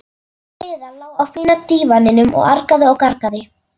Heiða lá á fína dívaninum og argaði og gargaði.